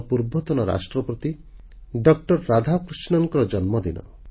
ଆମର ପୂର୍ବତନ ରାଷ୍ଟ୍ରପତି ଡଃ ରାଧାକୃଷ୍ଣନଙ୍କ ଜନ୍ମଦିନ